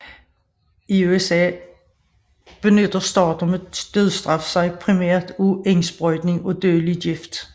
I USA benytter stater med dødsstraf sig primært af indsprøjtning af dødelig gift